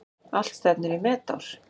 Allt stefnir í metár.